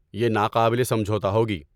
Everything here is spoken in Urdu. یہ ناقابل سمجھوتہ ہوگی۔